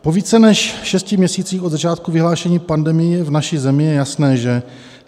Po více než šesti měsících od začátku vyhlášení pandemie v naší zemi je jasné, že: